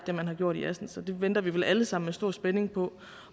det man har gjort i assens er det venter vi vel alle sammen i stor spænding på